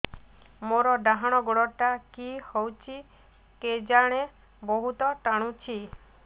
ମୋର୍ ଡାହାଣ୍ ଗୋଡ଼ଟା କି ହଉଚି କେଜାଣେ ବହୁତ୍ ଟାଣୁଛି